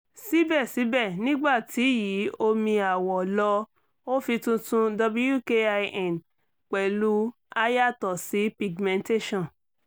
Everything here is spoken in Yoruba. sibẹsibẹ nigbati yi omi awọ lọ o fi titun wkin pẹlu a yatọ si [cs[ pigmentation